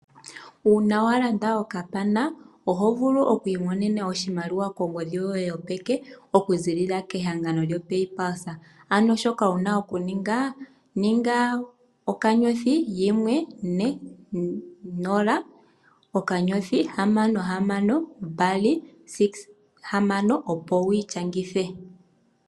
Uuna wa landa okapana oho vulu oku imonena oshimaliwa kongodhi yoye yopeke okuziilila kehangano lyoPaypluse. Ano shoka wuna oku ninga, ninga *140*6626# opo wiishangithe.